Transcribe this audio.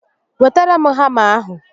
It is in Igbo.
Wetara m hama ahụ